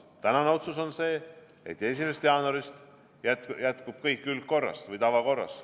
Tänane otsus on see, et 1. jaanuarist jätkub kõik tavakorras.